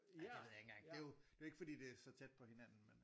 Ej det ved jeg ikke engang det er jo ikke fordi det er så tæt på hinanden med øh